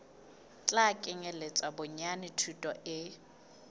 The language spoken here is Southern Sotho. tla kenyeletsa bonyane thuto e